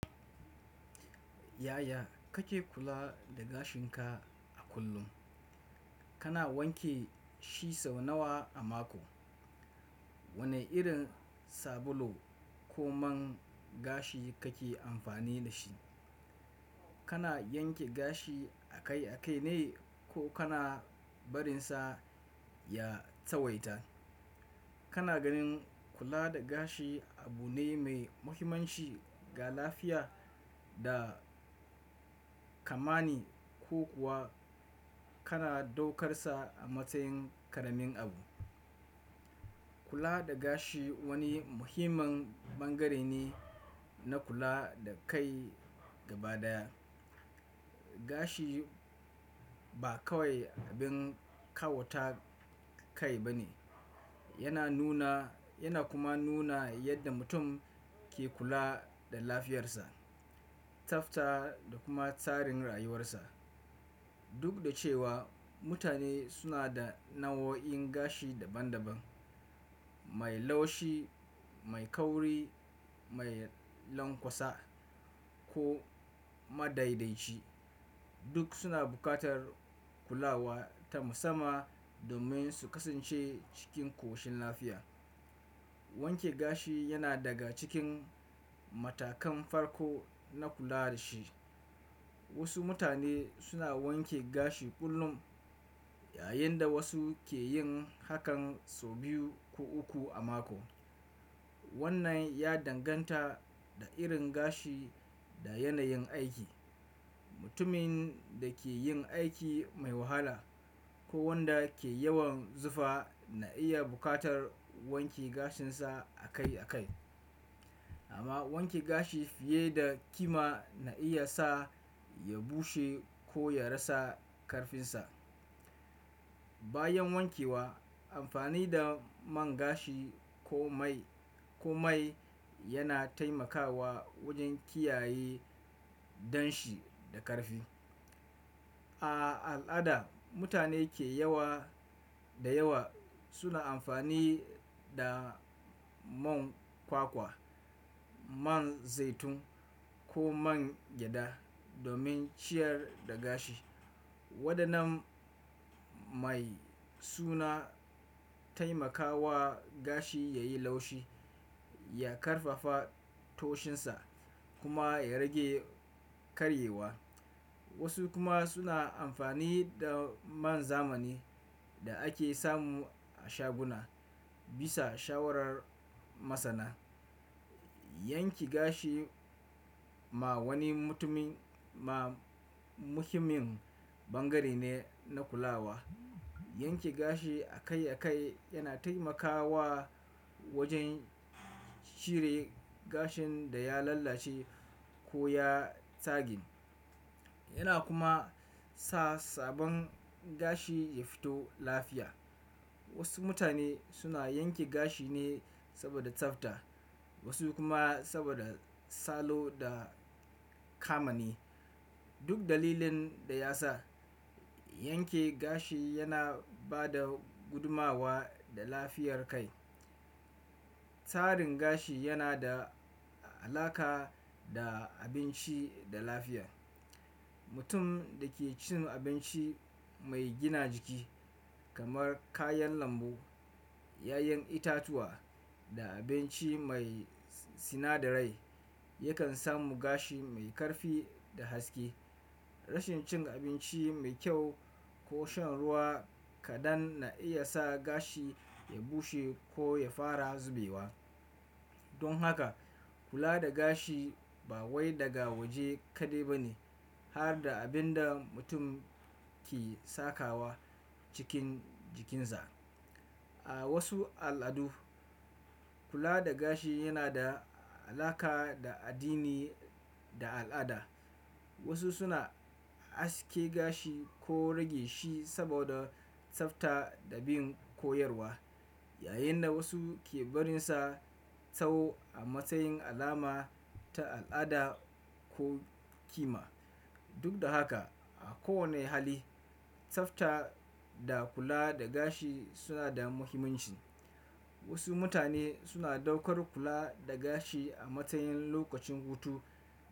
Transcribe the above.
Yaya kake kula da gashinka a kullum? Kana wanke shi sau nawa a mako? Wane irin sabulu ko man gashi kake amfani da shi? Kana yanke gashi a kai a kai ne ko kana barinsa ya tawaita? Kana ganin kula da gashi abu ne mai muhimmanci ga lafiya da kamani ko kuwa kana daukar sa a matsayin ƙaramin abu? Kula da gashi wani muhimmin bangare ne na kula da kai gaba daya. Gashi ba kawai abin kawata kai ba ne, yana nuna yana kuma nuna yadda mutum ke kula da lafiyarsa, tsafta da kuma tsarin rayuwarsa. Duk da cewa mutane suna da nau'o'in gashi daban-daban, mai laushi, mai kauri, mai lanƙwasa ko madaidai ci, duk suna buƙatar kulawa ta musamman domin su kasance cikin ƙoshin lafiya. Wanke gashi yana daga cikin matakan farko na kula da shi. Wasu mutane suna wanke gashi kullum yayin da wasu ke yin hakan sau biyu ko uku a mako. Wannan ya danganta da irin gashi da yanayin aiki. Mutumin da ke yin aiki mai wahala ko wanda ke yawan zufa na iya buƙatar wanke gashinsa a kai a kai. Amma wanke gashi fiye da kima na iya sa ya bushe ko ya rasa karfinsa. Bayan wankewa, amfani da man gashi ko mai ko mai yana taimakawa wajen kiyaye danshi da karfi. A al'ada, mutane ke yawa da yawa suna amfani da man kwakwa, man zaitun ko man gyada domin ciyar da gashi. Waɗannan mai suna taimakawa gashi ya yi laushi, ya ƙarfafa toshinsa kuma ya rage karyewa. Wasu kuma suna amfani da man zamani da ake samu a shaguna bisa shawarar masana. Yanke gashi ma wani mutumin ma muhimmin bangare ne na kulawa. Yanke gashi a kai a kai yana taimakawa wajen cire gashin da ya lalace ko ya tagin. Yana kuma sa sabon gashi ya fito lafiya. Wasu mutane suna yanke gashi ne saboda tsafta, wasu kuma saboda salo da kamani. Duk dalilin da ya sa, yanke gashi yana ba da gudumawa da lafiyar kai. Tsarin gashi yana da alaƙa da abinci da lafiya. Mutum da ke cin abinci mai gina jiki kamar kayan lambu, ƴaƴan itatuwa da abinci mai sinadarai yakan samu gashi mai karfi da haske. Rashin cin abinci mai kyau ko shan ruwa kaɗan na iya sa gashi ya bushe ko ya fara zubewa. Don haka kula da gashi ba wai daga waje kaɗai ba ne har da abin da mutum ke sakawa cikin jikinsa. A wasu al'adu kula da gashi yana da alaƙa da addini da al'ada. Wasu suna haske gashi ko rage shi saboda tsafta da bin koyarwa, yayin da wasu ke barinsa tsaho a matsayin alama ta al'ada ko kima. Duk da haka a kowane hali, tsafta da kula da gashi suna da muhimmanci. Wasu mutane suna ɗaukar kula da gashi a matsayin lokacin hutu.